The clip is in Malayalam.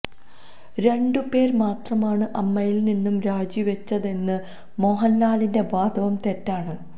രണ്ടു പേര് മാത്രമാണ് അമ്മയില് നിന്നും രാജിവച്ചതെന്ന മോഹന്ലാലിന്റെ വാദവും തെറ്റാണ്